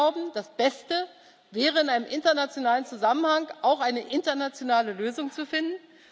Wir glauben, das Beste wäre, in einem internationalen Zusammenhang auch eine internationale Lösung zu finden.